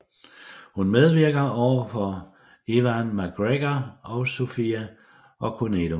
Hun medvirker overfor Ewan McGregor og Sophie Okonedo